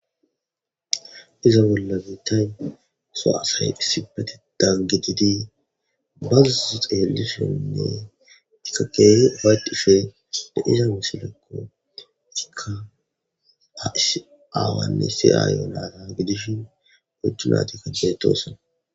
Iza bolla biittan soasahay issipetetan gididi bazuzo xeelisonne ikka keeh faycishe de iza misilekko ikka s aawanne siyaayonara gidishin gochunatikkadeetoosa